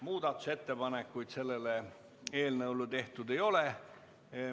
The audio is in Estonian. Muudatusettepanekuid selle eelnõu kohta tehtud ei ole.